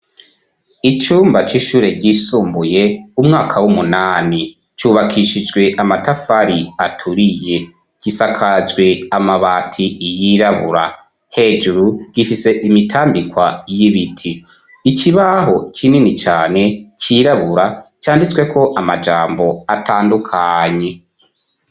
Icumba c'ishure ryisumbuye umwaka w'umunani cubakishijwe amatafari aturiye, gisakajwe amabati yirabura, hejuru gifise imitambikwa y'ibiti, ikibaho kinini cane cirabura canditsweko amajambo atandukanye.